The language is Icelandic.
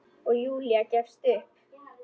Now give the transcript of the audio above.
Og Júlía gefst upp.